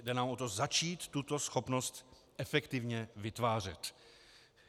Jde nám o to začít tuto schopnost efektivně vytvářet.